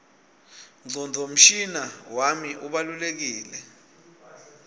ngcondvomshina wami ubalulekile